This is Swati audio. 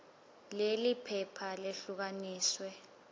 leli phepha lehlukaniswe